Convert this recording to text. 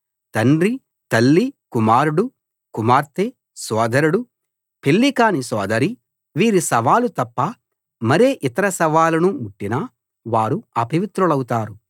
తండ్రి తల్లి కుమారుడు కుమార్తె సోదరుడు పెళ్ళి కాని సోదరి వీరి శవాలు తప్ప మరే ఇతర శవాలను ముట్టినా వారు అపవిత్రులవుతారు